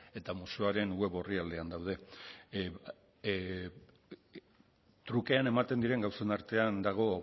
eta museoaren web orrialdean daude trukean ematen diren gauzen artean dago